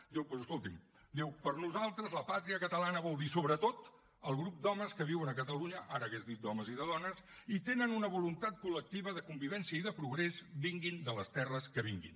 doncs escolti’m diu per nosaltres la pàtria catalana vol dir sobretot el grup d’homes que viuen a catalunya ara hauria dit d’homes i de dones i tenen una voluntat col·lectiva de convivència i de progrés vinguin de les terres que vinguin